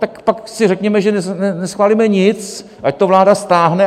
Tak pak si řekněme, že neschválíme nic, ať to vláda stáhne.